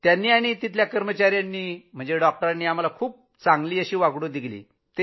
त्यांची आणि कर्मचाऱ्यांचीही वागणूक खूप चांगली होती